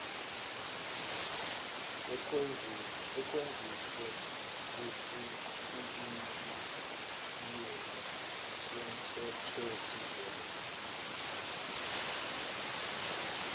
ekhonjiswe kwisichibiyelo somthethosisekelo